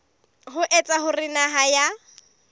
ho etsa hore naha ya